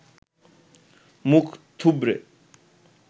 মুখ থুবড়ে